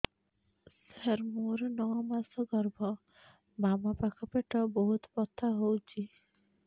ସାର ମୋର ନଅ ମାସ ଗର୍ଭ ବାମପାଖ ପେଟ ବହୁତ ବଥା ହଉଚି